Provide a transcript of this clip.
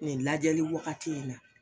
E lajɛli waagati in na.